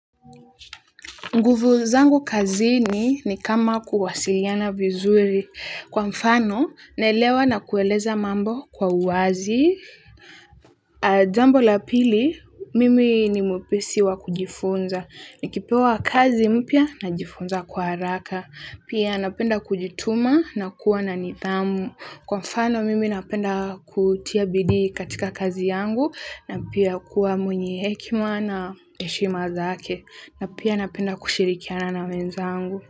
Nguvu zangu kazini ni kama kuwasiliana vizuri kwa mfano naelewa na kueleza mambo kwa uwazi jambo la pili mimi ni mwepesi wa kujifunza. Nikipewa kazi mpya najifunza kwa haraka. Pia napenda kujituma na kuwa na nidhamu. Kwa mfano mimi napenda kutia bidii katika kazi yangu na pia kuwa mwenye hekima na heshima zake. Na pia napenda kushirikiana na wenzangu.